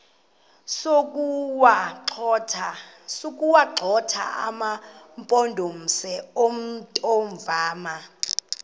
sokuwagxotha amampondomise omthonvama